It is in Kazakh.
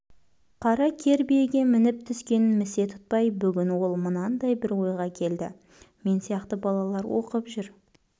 қара кер биеге мініп-түскенін місе тұтпай бүгін ол мынандай бір ойға келді мен сияқты балалар оқып жүр